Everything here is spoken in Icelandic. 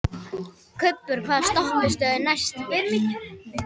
Kubbur, hvaða stoppistöð er næst mér?